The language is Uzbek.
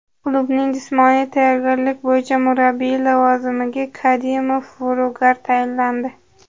Klubning jismoniy tayyorgarlik bo‘yicha murabbiyi lavozimiga Kadimov Vyugar tayinlandi.